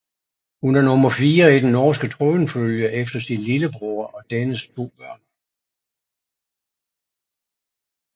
Hun er nummer fire i den norske tronfølge efter sin lillebror og dennes to børn